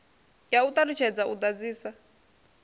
ya u ṱalutshedza u ḓadzisa